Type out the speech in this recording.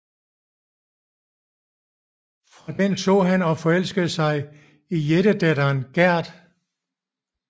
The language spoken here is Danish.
Fra den så han og forelskede sig i jættedatteren Gerd